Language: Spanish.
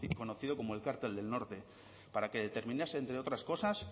conocidas como el cártel del norte para que determinase entre otras cosas